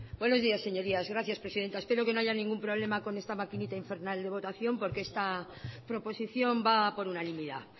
buenos días señorías gracias presidenta espero que no haya ningún problema con esta maquinita infernal de votación porque esta proposición va por unanimidad